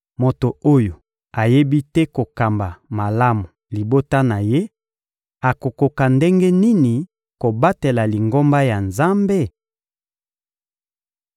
Moto oyo ayebi te kokamba malamu libota na ye akokoka ndenge nini kobatela Lingomba ya Nzambe?